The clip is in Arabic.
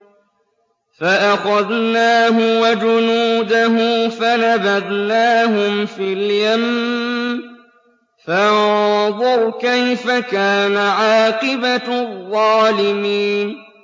فَأَخَذْنَاهُ وَجُنُودَهُ فَنَبَذْنَاهُمْ فِي الْيَمِّ ۖ فَانظُرْ كَيْفَ كَانَ عَاقِبَةُ الظَّالِمِينَ